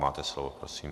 Máte slovo, prosím.